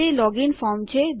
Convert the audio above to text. તે login form છે